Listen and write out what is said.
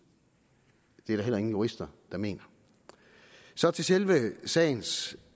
det er der heller ingen jurister der mener så til selve sagens